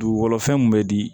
Dugukolo fɛn mun be di